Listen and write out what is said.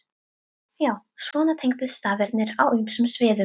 Já, svona tengdust staðirnir á ýmsum sviðum.